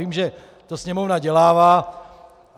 Vím, že to sněmovna dělává.